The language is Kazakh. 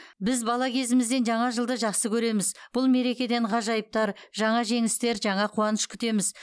біз бала кезімізден жаңа жылды жақсы көреміз бұл мерекеден ғажайыптар жаңа жеңістер жаңа қуаныш күтеміз